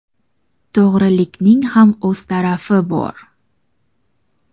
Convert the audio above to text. to‘g‘rilikning ham o‘z ta’rifi bor.